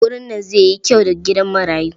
Wurin nan zai yi kyau fa gidan marayu.